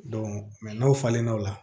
n'aw falenna o la